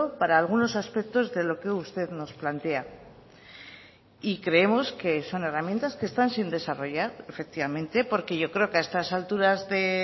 para algunos aspectos de lo que usted nos plantea y creemos que son herramientas que están sin desarrollar efectivamente porque yo creo que a estas alturas de